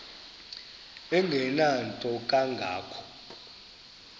engenanto kanga ko